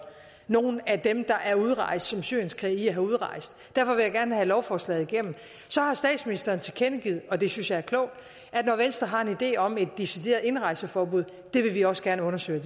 nogle af dem der er udrejst som syrienskrigere udrejst derfor vil jeg gerne have lovforslaget igennem så har statsministeren tilkendegivet og det synes jeg er klogt at når venstre har en idé om et decideret indrejseforbud vil vi også gerne undersøge